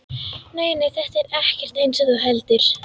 Nei, nei, þetta er ekkert eins og þú heldur.